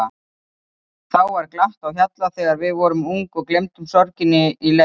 Þá var glatt á hjalla þegar við vorum ung og gleymdum sorginni í leik.